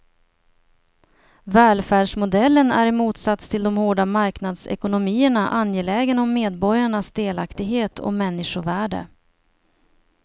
Välfärdsmodellen är i motsats till de hårda marknadsekonomierna angelägen om medborgarnas delaktighet och människovärde.